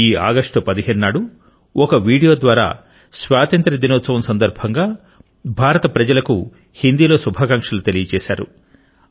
ఈ ఆగస్టు 15 నాడు ఒక వీడియో ద్వారా స్వాతంత్ర్య దినోత్సవం సందర్భంగా భారత ప్రజలను హిందీలో శుభాకాంక్షలు తెలిపారు